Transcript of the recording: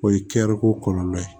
O ye kɛriko kɔlɔlɔ ye